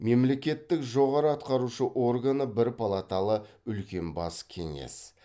мемлекеттік жоғары атқарушы органы бір палаталы үлкен бас кеңес